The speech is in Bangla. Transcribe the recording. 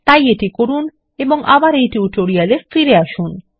তাই এটি করুন ও আবার এই টিউটোরিয়ালের ফিরে আসুন